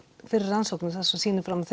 fyrir rannsóknir sem sýna fram á